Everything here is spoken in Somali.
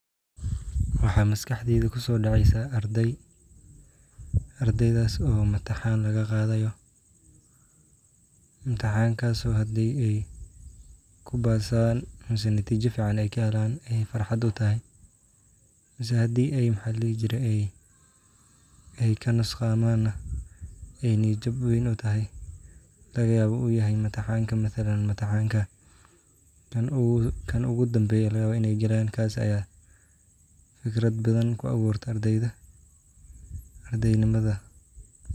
Waxaa maskaxdayda kusoo dhacaysaa arday. Ardaydas oo mataxaan laga qaadayo. Mitaxaankaas oo hadii ay ku baasaan mise natiijo badan ay ka helaan ay farxad utahay. mise hadii ay ay ay ka nusqaamaana, ay niyo jab weyn utahay laga yaabo uu yahay mitaxaanka mathalan mitaxaanka ka ugu dambeeya laga yaabo in ay galayaan kaas ayaa fikrad badan ku abuurta ardayda ardaynamada.